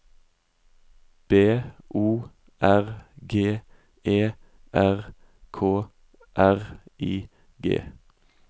B O R G E R K R I G